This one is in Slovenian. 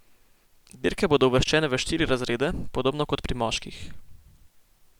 Dirke bodo uvrščene v štiri razrede, podobno kot pri moških.